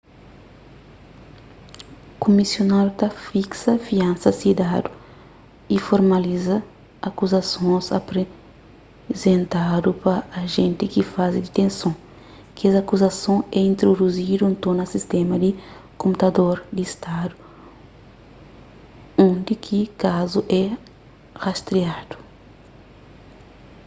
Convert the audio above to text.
kumisáriu ta fiksa fiansa si dadu y formaliza akuzasons aprizentadu pa ajénti ki faze ditenson kes akuzason é introduzidu nton na sistéma di konputador di stadu undi ki kazu é rastriadu